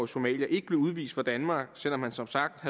somalier ikke blev udvist fra danmark selv om han som sagt